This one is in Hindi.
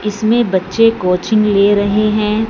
इसमें बच्चे कोचिंग ले रहे हैं।